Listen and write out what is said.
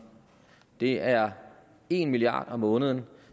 det er en milliard kroner om måneden